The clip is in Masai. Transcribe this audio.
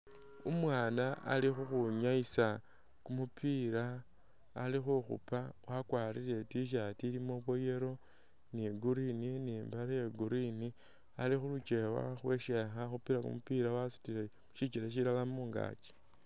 Umwana ali khukhwinyayisa kumupila ali khukhupa akwarile t-shirt ilimo bwo yellow ni green ni mbale ye green ali khujewa wakhupile kumupila wasutile shikyele shilala mungakyi